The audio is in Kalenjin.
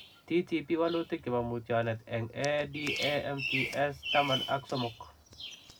TTP,walutik chepoo mutetionet eng ADAMTS taman ak somok .